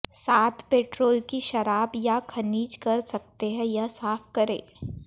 साथ पेट्रोल की शराब या खनिज कर सकते हैं यह साफ करें